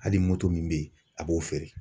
Hali moto min bɛ yen, a b'o feere